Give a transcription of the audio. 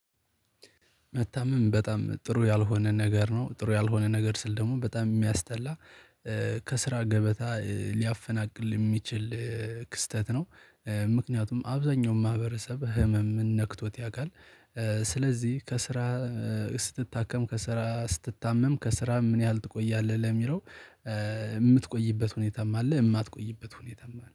መታመም በጣም ጥሩ ያልሆነ ነገር ነው። ጥሩ ያልሆነ ነገር ስል ደግሞ በጣም የሚያስተላ ከስራ ገበታ ሊያፈናቅል የሚችል ክስተት ነው። ምክንያቱም አብዛኛው ማህበረሰብ ህመም ነክቶት ያቃል ስለዚህ ከስራ ስትታከም፥ ከስራ ስትታመም ከስራ ምን ያህል ትቆያለህ ለሚለው የምትቆይበት ሁኔታም አለ የማትቆይበት ሁኔታም አለ